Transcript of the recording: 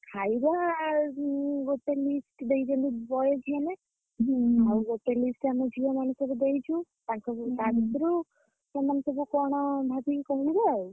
ଖାଇବା ଉଁ ଗୋଟେ list ଦେଇଛନ୍ତି boys ମାନେ। ଆଉ ଗୋଟେ list ଆମ ଝିଅମାନେ ସବୁ ଦେଇଛୁ। ତାଙ୍କ ଭିତରୁ ତା ଭିତରୁ ସେମାନେ ସବୁ କଣ ଭାବିକି କହିବେ ଆଉ।